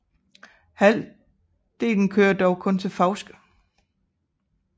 Halvdelen kører dog kun til Fauske